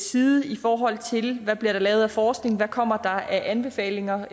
side i forhold til hvad der bliver lavet af forskning hvad der kommer af anbefalinger